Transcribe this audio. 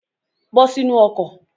Bọ́ sínu ọkọ̀.